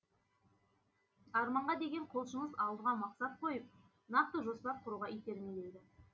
арманға деген құлшыныс алдыға мақсат қойып нақты жоспар құруға итермелейді